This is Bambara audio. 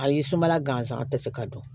A ye sumala gansan tɛ se ka dun